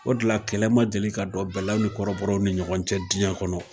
O dela kɛlɛ ma deli ka don bɛɛlaw ni kɔrɔbɔrɔw ni ɲɔgɔn cɛ diɲɛn kɔnɔ